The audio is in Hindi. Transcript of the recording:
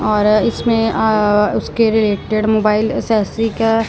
और इसमें अह उसके रिलेटेड मोबाइल एक्सेसरी का--